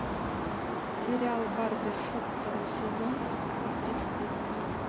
сериал барбершоп второй сезон эпизод тридцать один